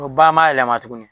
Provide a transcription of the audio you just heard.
Dɔ ba ma yɛlɛma tuguni .